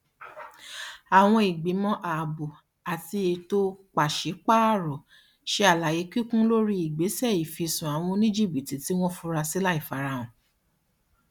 àwọn ìgbìmọ ààbò ati eto paṣipaarọ ṣe àlàyé kíkún lórí ìgbésẹ ìfisùn awọn oníjìbítì tí wọn furasí láìfarahàn